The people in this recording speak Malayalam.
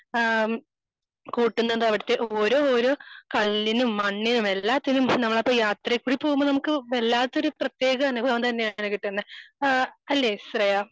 ആഹ് കൂട്ടുന്നത് അവിടുത്തെ ഓരോ ഓരോ കല്ലിനും മണ്ണിനും എല്ലാറ്റിനും അവിടുത്തെ യാത്രയും കൂടി പോകുമ്പോ നമുക്ക് വല്ലാത്ത ഒരു പ്രതേക അനുഭവം തന്നെയാണ് ട്ടോ കിട്ടുന്നേ ആഹ് അല്ലേ ശ്രേയാ?